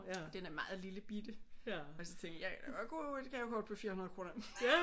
Og den er meget lillebitte og så tænkte jeg jeg kan da godt bruge et gavekort på 400 kroner